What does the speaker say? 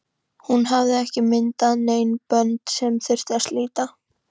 Hún hafði ekki myndað nein bönd sem þurfti að slíta.